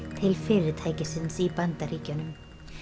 til fyrirtækisins í Bandaríkjunum